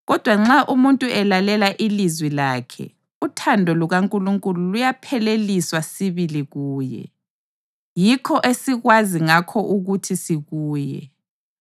Kodwa nxa umuntu elalela ilizwi lakhe, uthando lukaNkulunkulu luyapheleliswa sibili kuye. Yikho esikwazi ngakho ukuthi sikuye: